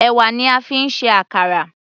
Ẹ̀wà ni a fi ń ṣe àkàrà.